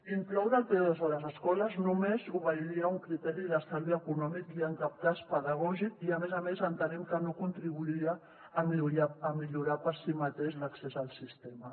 incloure el p2 a les escoles només obeiria a un criteri d’estalvi econòmic i en cap cas pedagògic i a més a més entenem que no contribuiria a millorar per si mateix l’accés al sistema